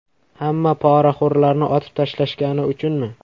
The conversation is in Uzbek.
Hamma poraxo‘rlarni otib tashlashgani uchunmi?